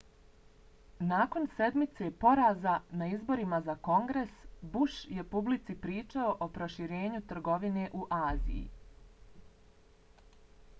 nakon sedmice poraza na izborima za kongres bush je publici pričao o proširenju trgovine u aziji